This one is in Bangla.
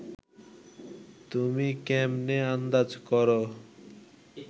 তুমি ক্যামনে আন্দাজ করো